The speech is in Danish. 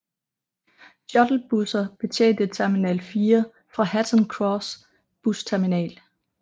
Shuttlebusser betjente Terminal 4 fra Hatton Cross Busterminal